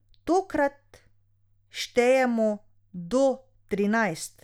Tokrat štejemo do trinajst.